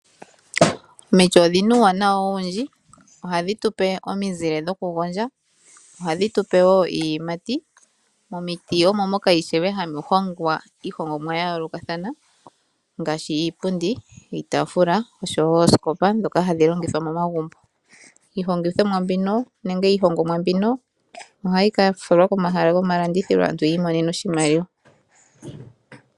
Omiti odhina uuwanawa owundji , ohadhi tu pe omizile dhokugondja , ohadhi tu pe wo iiyimati, momiti omo moka ishewe ha mu hongwa iihongomwa ya yoolokathana ngaashi iipundi, iitaafula osho wo oosikopa ndhoka hadhi longithwa momagumbo. Iihongomwa mbino ohayi ka falwa komahala gomalandithilo aantu yi imonene oshimaliwa.